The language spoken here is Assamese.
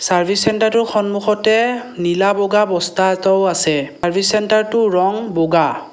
চাৰ্ভিচ চেন্টাৰটোৰ সন্মুখতে নীলা বগা বস্তা এটাও আছে চাৰ্ভিচ চেন্টাৰটোৰ ৰঙ বগা।